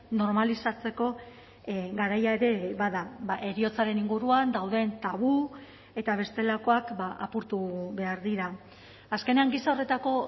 normalizatzeko garaia ere bada heriotzaren inguruan dauden tabu eta bestelakoak apurtu behar dira azkenean gisa horretako